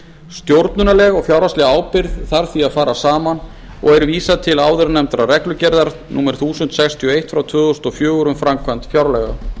stjórnunarleg og fjárhagsleg ábyrgð þarf því að fara sama og er vísað til áðurnefndrar reglugerðar númer eitt þúsund sextíu og eitt tvö þúsund og fjögur um framkvæmd fjárlaga